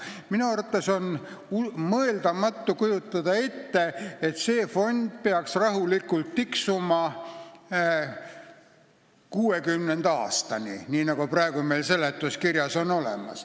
Minu arvates on mõeldamatu kujutada ette, et see fond peaks rahulikult tiksuma 2060. aastani, nii nagu selgub eelnõu seletuskirjast.